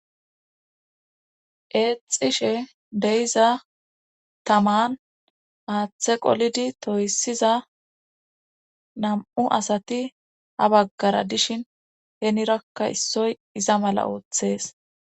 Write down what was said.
Eexishe deyiza taman aaththe qolidi toyssiza nam7u asati ha baggara dishin heenirakka issoy iza mala ooththees.